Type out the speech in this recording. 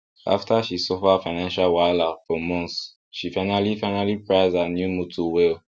after she suffer financial wahala for months she finally finally price her new motor well